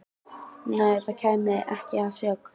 Nei, það kæmi ekki að sök.